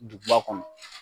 Duguba kɔnɔ